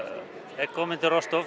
er kominn til